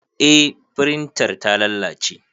Eh firintar ta lalace